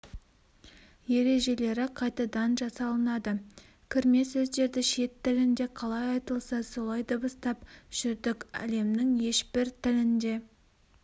ережелері қайтадан жасалынады кірме сөздерді шет тілінде қалай айтылса солай дыбыстап жүрдік әлемнің ешбір тілінде